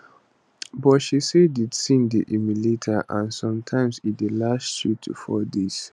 but she say di tin dey humiliate her and sometimes e dey last three to four days